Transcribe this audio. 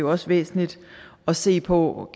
også væsentligt at se på